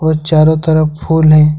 और चारों तरफ फूल हैं।